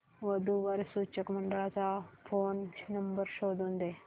वधू वर सूचक मंडळाचा फोन नंबर शोधून दे